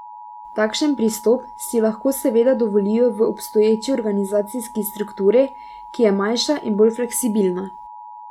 Takšen pristop si lahko seveda dovolijo v obstoječi organizacijski strukturi, ki je manjša in bolj fleksibilna.